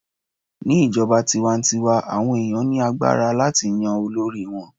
ní ijoba tiwantiwa, awọn ènìyàn ní agbára láti Yan olori wan